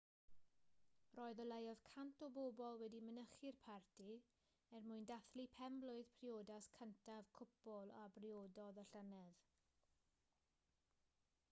roedd o leiaf 100 o bobl wedi mynychu'r parti er mwyn dathlu pen-blwydd priodas cyntaf cwpl a briododd y llynedd